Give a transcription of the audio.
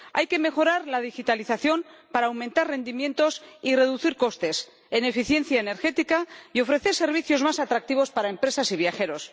Hay que mejorar la digitalización para aumentar rendimientos y reducir costes en eficiencia energética y ofrecer servicios más atractivos para empresas y viajeros.